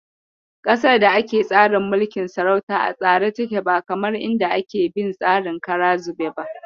Ƙasar da ake tsarin mulkin sarauta a tsare take ba kamar inda ake bin tsarin kara zube ba.